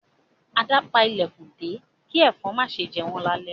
Ada npá ilẹkùn dé ki ẹ̀fọ̀n ma ṣe jé wọn lale